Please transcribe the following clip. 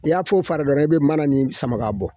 I y'a fara dɔrɔn i be mana nin sama bɔ